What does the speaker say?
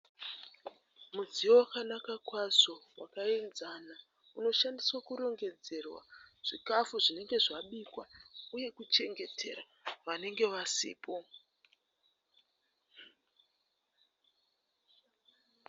Mudziyo wakanaka kwazvo wakaenzana unoshandiswa kurongedzerwa zvikafu zvinenge zvabikwa uye kuchengetera vanenge vasipo.